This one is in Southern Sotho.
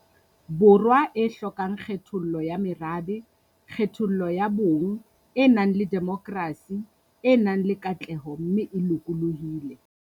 Borwa e hlokang kgethollo ya merabe, kgethollo ya bong, e nang le demokrasi, e nang le katleho mme e lokolohile.